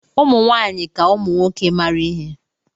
Ụmụ nwaanyị ka ụmụ nwoke mara ihe.